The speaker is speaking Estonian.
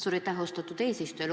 Suur aitäh, austatud eesistuja!